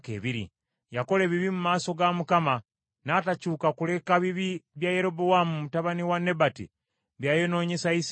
Yakola ebibi mu maaso ga Mukama , n’atakyuka kuleka bibi bya Yerobowaamu mutabani wa Nebati bye yayonoonyesa Isirayiri.